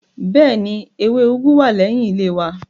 Bẹ́ẹ̀ni, ewé úgú wà lẹ́yìn ilé wa